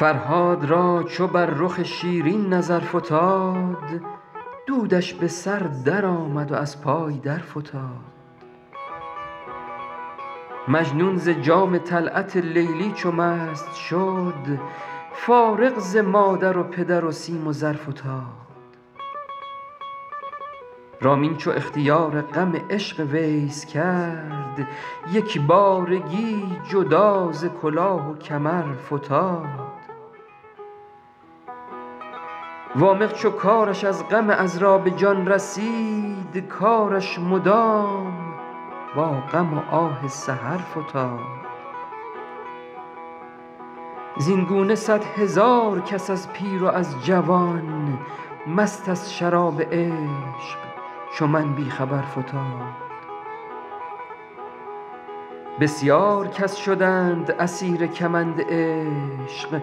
فرهاد را چو بر رخ شیرین نظر فتاد دودش به سر درآمد و از پای درفتاد مجنون ز جام طلعت لیلی چو مست شد فارغ ز مادر و پدر و سیم و زر فتاد رامین چو اختیار غم عشق ویس کرد یک بارگی جدا ز کلاه و کمر فتاد وامق چو کارش از غم عـذرا به جان رسید کارش مدام با غم و آه سحر فتاد زین گونه صدهزار کس از پیر و از جوان مست از شراب عشق چو من بی خبر فتاد بسیار کس شدند اسیر کمند عشق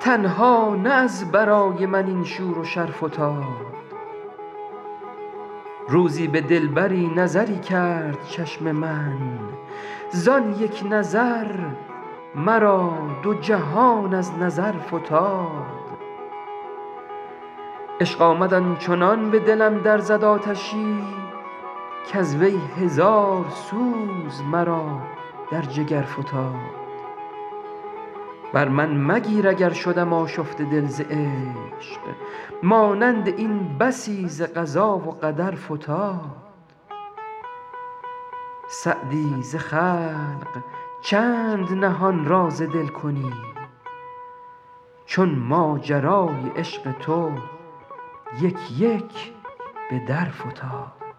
تنها نه از برای من این شور و شر فتاد روزی به دلبری نظری کرد چشم من زان یک نظر مرا دو جهان از نظر فتاد عشق آمد آن چنان به دلم در زد آتشی کز وی هزار سوز مرا در جگر فتاد بر من مگیر اگر شدم آشفته دل ز عشق مانند این بسی ز قضا و قدر فتاد سعدی ز خلق چند نهان راز دل کنی چون ماجرای عشق تو یک یک به در فتاد